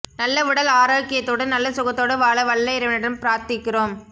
நல்ல உடல் ஆரோக்கியத்தோடு நல்ல சுகத்தோடு வாழ வல்ல இறைவனிடம் பிராத்திக்கிறோம்